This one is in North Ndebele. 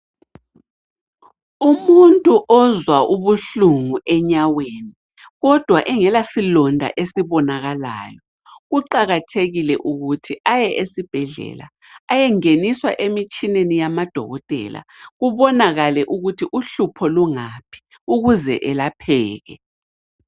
Umuntu ozwa ubuhlungu enyaweni kodwa engelasilonda esibonakalayo kuqakathekile ukuthi aye esibhedlela ayengeniswa emitshineni yamadokotela kubonakale ukuthi uhlupho lungaphi ukuze elapheke.